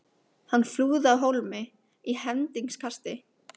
Hann flúði af hólmi í hendingskasti.